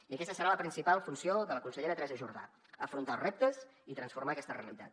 i aquesta serà la principal funció de la consellera teresa jordà afrontar els reptes i transformar aquesta realitat